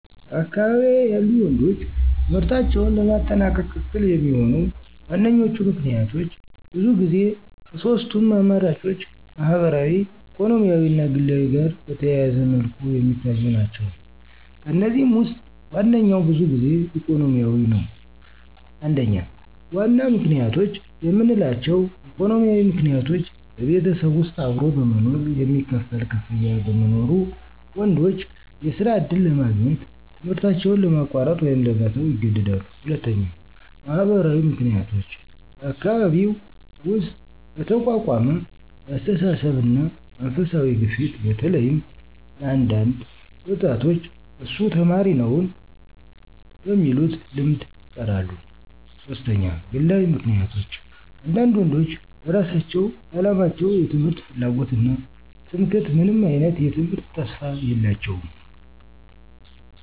በአካባቢዬ ያሉ ወንዶች ትምህርታቸውን ለማጠናቀቅ እክል የሚሆኑ ዋነኞቹ ምክንያቶች ብዙ ጊዜ ከሶስቱም አማራጮች ማህበራዊ ኢኮኖሚያዊ እና ግላዊ ጋር በተያያዘ መልኩ የሚታዩ ናቸው። ከእነዚህም ውስጥ ዋነኛው ብዙ ጊዜ ኢኮኖሚያዊ ነው። 1. ዋና ምክንያቶች የምንላቸው: ኢኮኖሚያዊ ምክንያቶች በቤተሰብ ውስጥ አብሮ በመኖር የሚከፈል ክፍያ በመኖሩ፣ ወንዶች የስራ ዕድል ለማግኘት ትምህርታቸውን ለማቋረጥ ወይም ለመተው ይገደዳሉ። 2. ማህበራዊ ምክንያቶች በአካባቢ ውስጥ በተቋቋመ የአስተሳሰብ እና መንፈሳዊ ግፊት በተለይም ለአንዳንድ ወጣቶች እሱ ተማሪ ነውን? በሚሉት ልምድ ይቀራሉ። 3. ግላዊ ምክንያቶች አንዳንድ ወንዶች በራሳቸው በአላቸው የትምህርት ፍላጎት እና ትምክህት ምንም አይነት የትምህርት ተስፋ የላቸውም።